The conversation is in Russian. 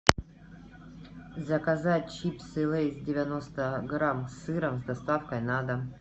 заказать чипсы лейс девяносто грамм с сыром с доставкой на дом